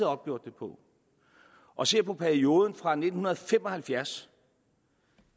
opgjort det på og ser på perioden fra nitten fem og halvfjerds